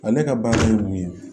Ale ka baara ye mun ye